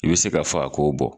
I bɛ se k'a fɔ a k'o bɔ